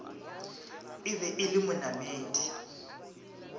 e be e le monamedi